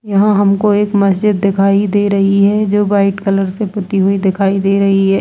यहाँ हमको एक मस्जिद दिखाई दे रही है जो वाइट कलर से पुति हुई दिखाई दे रही है।